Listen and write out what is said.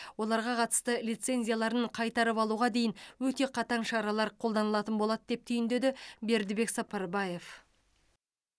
оларға қатысты лицензияларын қайтарып алуға дейін өте қатаң шаралар қолданылатын болады деп түйіндеді бердібек сапарбаев